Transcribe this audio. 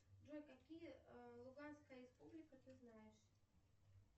джой какие луганская республика ты знаешь